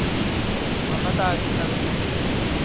maphata a a fetang nngwe